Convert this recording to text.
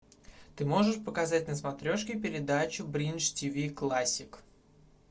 ты можешь показать на смотрешке передачу бридж тв классик